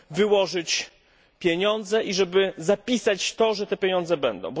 wyłożyć pieniądze i zapisać to, że te pieniądze będą.